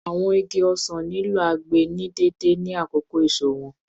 Awọn igi osan nilo agbe ni deede ni akoko eso wọn